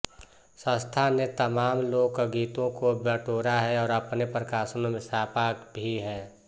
संस्था ने तमाम लोकगीतों को बटोरा है और अपने प्रकाशनों में छापा भी है